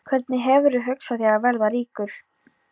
Hvernig hefurðu hugsað þér að verða ríkur?